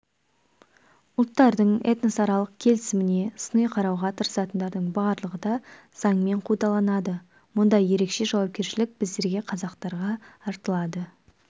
ұлттардың этносаралық келісіміне сыни қарауға тырысатындардың барлығы да заңмен қудаланады мұнда ерекше жауапкершілік біздерге қазақтарға артылады